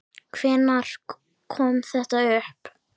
Hvenær kom þetta upp?